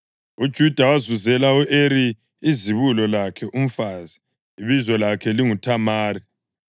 UJuda wazuzela u-Eri izibulo lakhe umfazi, ibizo lakhe linguThamari.